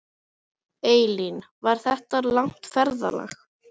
Elín: Var þetta langt ferðalag?